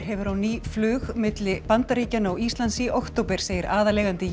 hefur á ný flug milli Bandaríkjanna og Íslands í október segir aðaleigandi